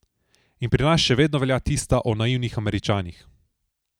In pri nas še vedno velja tista o naivnih Američanih.